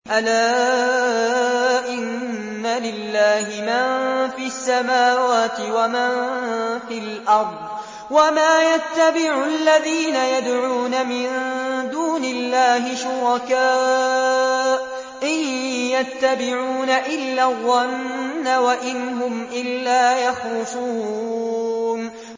أَلَا إِنَّ لِلَّهِ مَن فِي السَّمَاوَاتِ وَمَن فِي الْأَرْضِ ۗ وَمَا يَتَّبِعُ الَّذِينَ يَدْعُونَ مِن دُونِ اللَّهِ شُرَكَاءَ ۚ إِن يَتَّبِعُونَ إِلَّا الظَّنَّ وَإِنْ هُمْ إِلَّا يَخْرُصُونَ